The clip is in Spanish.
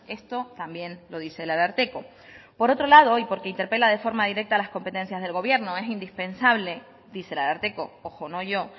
esto también lo dice el ararteko por otro lado y porque interpela de forma directa las competencias del gobierno es indispensable dice el ararteko ojo no yo